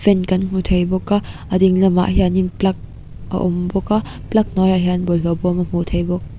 fan kan hmu thei bawk a a ding lamah hianin plug a awm bawk a plug hnuaiah hian bawlhhlawh bawm kan hmu thei bawk.